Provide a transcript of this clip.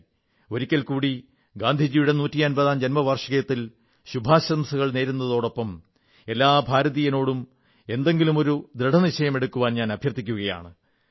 ഒരിക്കൽ കൂടി ഗാന്ധിജിയുടെ നൂറ്റമ്പതാം ജൻമവാർഷികത്തിൽ ശുഭാശംസകൾ നേരുന്നതോടൊപ്പം എല്ലാ ഭാരതീയരോടും എന്തെങ്കിലുമൊരു ദൃഢനിശ്ചയമെടുക്കാൻ അഭ്യർഥിക്കുന്നു